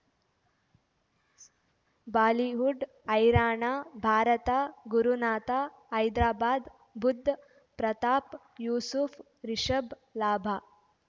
Bollywood ಹೈರಾಣ ಭಾರತ ಗುರುನಾಥ ಹೈದರಾಬಾದ್ ಬುಧ್ ಪ್ರತಾಪ್ ಯೂಸುಫ್ ರಿಷಬ್ ಲಾಭ